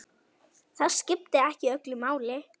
Það skipti ekki öllu máli.